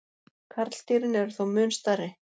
Karldýrin eru þó mun stærri.